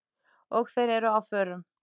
Og þeir eru á förum.